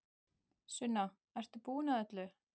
Sunna, ert þú búin að öllu?